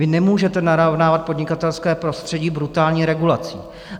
Vy nemůžete narovnávat podnikatelské prostředí brutální regulací.